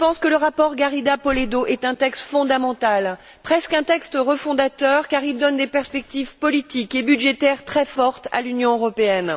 Le rapport Garriga Polledo est un texte fondamental, presque un texte refondateur, car il donne des perspectives politiques et budgétaires très fortes à l'Union européenne.